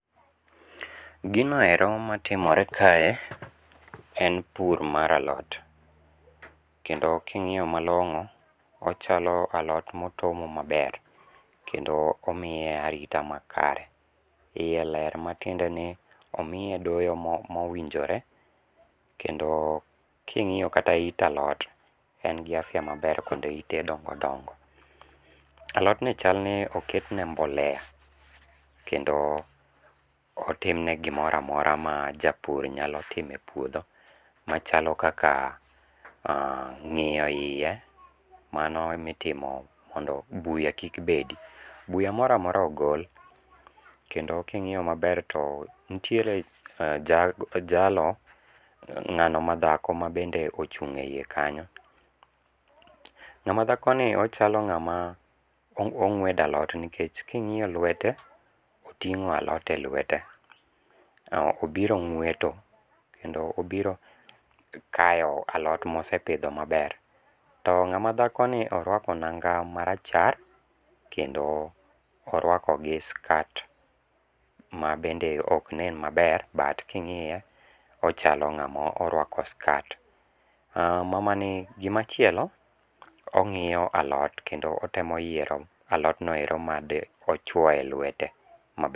Ginoero matimore kae, en pur mar alot , kendo king'iyo malong'o ochalo alot motomo maber kendo omiye arita makare, iye ler matiende ni omiye doyo mowinjore kendo king'iyo kata yit alot en gi afya maber kendo yite dongo dongo. Alotni chalni oketne mbolea kendo otimne gimoro amora ma japur nyalo timo e puotho, machalo kaka ng'iyo hiye mano mitimo mondo buya kik bedi, buya mora mora ogol, kendo king'iyo maber to nitiere jalo ng'ano madhako ma bende ochung'e hiye kanyo, ng'ama dhakoni ochalo ng'ama ong'wedo alot nikech king'iyo lwete oting'o alot e lwete to obiro ng'weto kendo obiro kayo alot mosipitho maber. To ng'amadhakoni orwako nanga marachar kendo orwako gi skat ma bende ok nen maber but king'iye ochalo ng'ama orwako skat, mamani gimachielo ong'iyo alot kendo otemo yiero alotnoero madochwoye lwete.